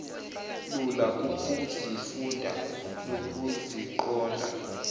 lula ukuzifunda nokuziqonda